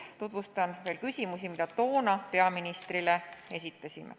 Tutvustan lühidalt küsimusi, mis toona peaministrile esitasime.